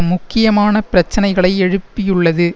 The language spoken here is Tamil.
முக்கியமான பிரச்சினைகளை எழுப்பியுள்ளது